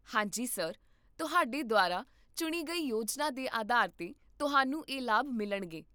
ਹਾਂ ਜੀ, ਸਰ, ਤੁਹਾਡੇ ਦੁਆਰਾ ਚੁਣੀ ਗਈ ਯੋਜਨਾ ਦੇ ਆਧਾਰ 'ਤੇ, ਤੁਹਾਨੂੰ ਇਹ ਲਾਭ ਮਿਲਣਗੇ